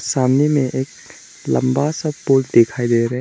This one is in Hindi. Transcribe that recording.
सामने में एक लंबा सा पुल दिखाई दे रहा है।